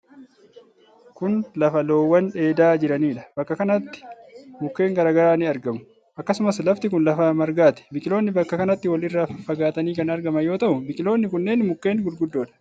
Kun lafa loowwan dheedaa jiraniidha. Bakka kanatti mukkeen garaa garaa ni argamu. Akkasumas lafti kun lafa margaati. Biqiloonni bakka kanatti wal irraa faffagaatanii kan argaman yoo ta'u, biqiloonni kunneen mukkeen gurguddoodha.